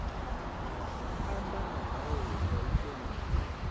amba nga ndaulo ya ikonomi